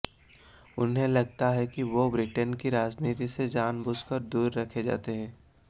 उन्हें लगता है कि वो ब्रिटेन की राजनीति से जानबूझकर दूर रखे जाते हैं